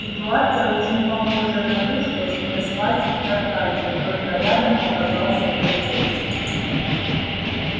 ситуация очень похожая на ту что стряслась с аркадием только рядом оказался полицейский